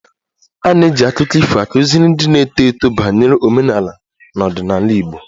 A na-eji akụkọ ifo akụziri ndị na-eto eto banyere omenala na ọdịnala Igbo